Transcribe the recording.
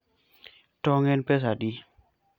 tong en pesadi?